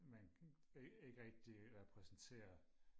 man ikke ikke rigtig repræsenterer